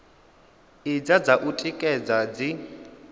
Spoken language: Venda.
idzi dza u tikedza dzi